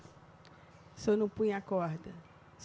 Se eu não ponho a corda?